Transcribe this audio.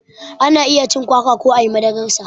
Ana iya cin kwakwa ko ayi madarar sa